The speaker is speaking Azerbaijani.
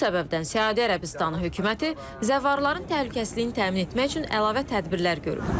Bu səbəbdən Səudiyyə Ərəbistanı hökuməti zəvvarların təhlükəsizliyini təmin etmək üçün əlavə tədbirlər görüb.